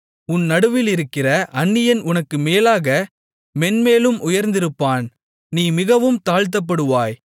உன் நடுவிலிருக்கிற அந்நியன் உனக்கு மேலாக மேன்மேலும் உயர்ந்திருப்பான் நீ மிகவும் தாழ்த்தப்பட்டுப்போவாய்